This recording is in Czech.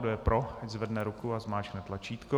Kdo je pro, ať zvedne ruku a zmáčkne tlačítko.